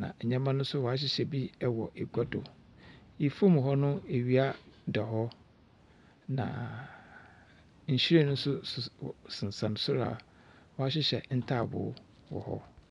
na ndzɛmba no nso wɔahyehyɛ bi wɔ agua do. Famu hɔ no, awia da hɔ, naaaa . Nhyiren nso sisi hɔ . Sensɛn sor a wɔahyehyɛ ntaabow wɔ hɔ.